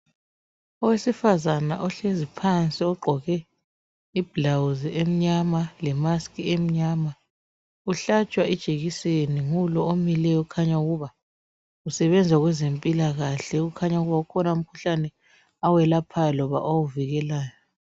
Owesifazana ohlezi phansi ogqqoke iblawuzi emnyama le mask emnyama uhlatshwa ijekiseni ngulo omileyo okhanya ukuba usebenza kwezempilakahle kukhanya ukuba ukhona umkhuhlane awelaohayo loba awuvikelayo